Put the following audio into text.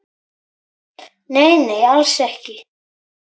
Nei, nei, alls ekki.